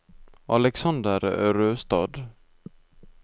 Alexander Røstad